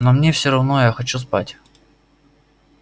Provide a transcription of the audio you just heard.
но мне всё равно я хочу спать